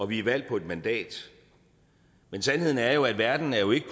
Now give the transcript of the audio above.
vi er valgt på et mandat men sandheden er jo at verden jo ikke